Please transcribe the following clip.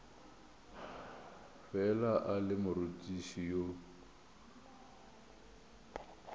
fela a le morutiši yo